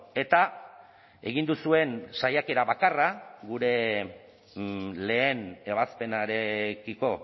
eta egin duzuen saiakera bakarra gure lehen ebazpenarekiko